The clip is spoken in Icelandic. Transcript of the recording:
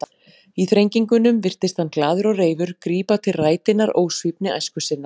Í þrengingunum virtist hann, glaður og reifur, grípa til rætinnar ósvífni æsku sinnar.